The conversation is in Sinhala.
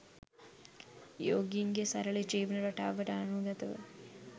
යෝගීන්ගේ සරල ජීවන රටාවට අනුගතව